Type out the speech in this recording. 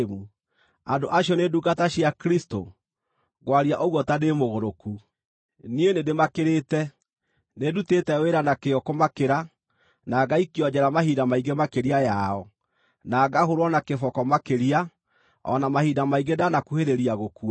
Andũ acio nĩ ndungata cia Kristũ? (Ngwaria ũguo ta ndĩ mũgũrũku.) Niĩ nĩndĩmakĩrĩte. Nĩndutĩte wĩra na kĩyo kũmakĩra, na ngaikio njeera mahinda maingĩ makĩria yao, na ngahũũrwo na kĩboko makĩria, o na mahinda maingĩ ndanakuhĩrĩria gũkua.